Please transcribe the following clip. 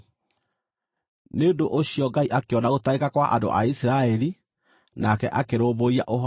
Nĩ ũndũ ũcio Ngai akĩona gũtangĩka kwa andũ a Isiraeli, nake akĩrũmbũiya ũhoro wao.